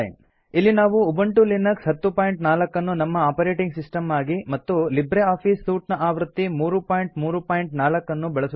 ಇಲ್ಲಿ ನಾವು Ubuntu Linux 1004ನ್ನು ನಮ್ಮ ಒಪರೆಟಿಂಗ್ ಸಿಸ್ಟಂ ಆಗಿ ಮತ್ತು ಲಿಬ್ರೆ ಆಫೀಸ್ ಸೂಟ್ ಆವೃತ್ತಿ 334